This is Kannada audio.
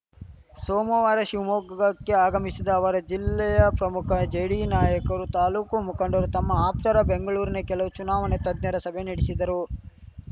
ಸೋಮವಾರ ಶಿವಮೊಗ್ಗಕ್ಕೆ ಆಗಮಿಶಿದ ಅವರು ಜಿಲ್ಲೆಯ ಪ್ರಮುಖ ಜೆಡಿಯು ನಾಯಕರು ತಾಲೂಕು ಮುಖಂಡರು ತಮ್ಮ ಆಪ್ತರ ಬೆಂಗಳೂರಿನ ಕೆಲವು ಚುನಾವಣಾ ತಜ್ಞರ ಸಭೆ ನಡೆಶಿದರು